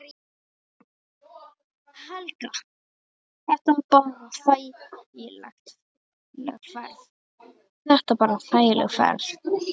Helga: Þetta bara þægileg ferð?